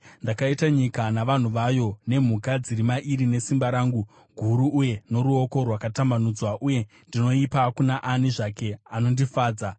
Ndakaita nyika navanhu vayo, nemhuka dziri mairi nesimba rangu guru uye noruoko rwakatambanudzwa, uye ndinoipa kuna ani zvake anondifadza.